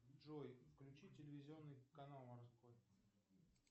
джой включи телевизионный канал морской